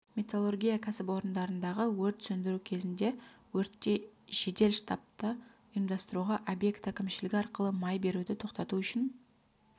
металлургия кәсіпорындарындағы өрт сөндіру кезінде өртте жедел штабты ұйымдастыруға объект әкімшілігі арқылы май беруді тоқтату үшін